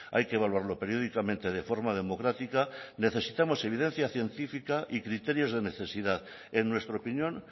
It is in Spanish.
hay que evaluarlo periódicamente de forma democrática necesitamos evidencia científica y criterios de necesidad en nuestra opinión